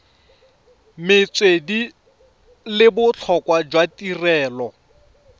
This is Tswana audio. metswedi le botlhokwa jwa tirelo